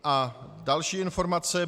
A další informace.